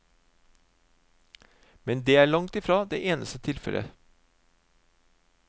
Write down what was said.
Men det er langtfra det eneste tilfellet.